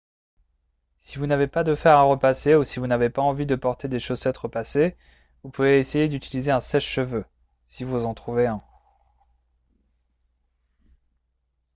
si vous n'avez pas de fer à repasser ou si vous n'avez pas envie de porter des chaussettes repassées vous pouvez essayer d'utiliser un sèche-cheveux si vous en trouvez un